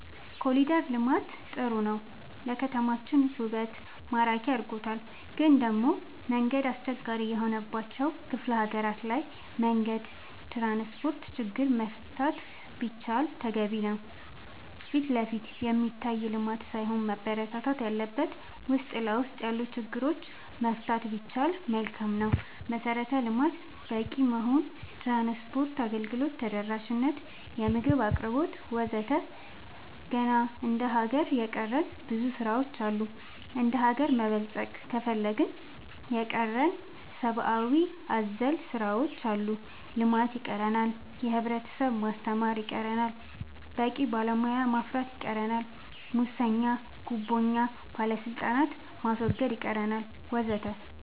ኮሊደር ልማት ጥሩ ነው ለከተማችን ውበት ማራኪ አርጎታል ግን ደሞ መንገድ አስቸጋሪ የሆነባቸው ክፍለ ሀገራት ላይ መንገድ ትራንስፖርት ችግር መፈታት ቢችል ተገቢ ነው ፊትለፊት የሚታይ ልማት ሳይሆን መበረታታት ያለበት ውስጥ ለውስጥ ያሉ ችግሮች መፍታት ቢቻል መልካም ነው መሰረተ ልማት በቂ መሆን ትራንስፓርት አገልግሎት ተደራሽ ነት የምግብ አቅርቦት ወዘተ ገና እንደ ሀገር የቀረን ብዙ ስራ ዎች አሉ እንደሀገር መበልፀግ ከፈለግን የቀረን ሰባአዊ አዘል ስራዎች አሉ ልማት ይቀረናል የህብረተሰብ ማስተማር ይቀረናል በቂ ባለሙያ ማፍራት ይቀረናል ሙሰኛ ጉቦኛ ባለስልጣናት ማስወገድ ይቀረናል ወዘተ